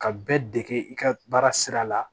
Ka bɛɛ dege i ka baara sira la